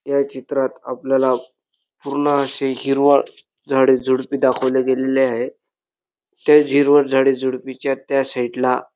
या चित्रात आपल्याला पूर्ण अशी हिरवळ झाडी झुडपी दाखवली गेलेली आहे त्याच हिरवळ झाडी झुडपीच्या त्या साइड ला--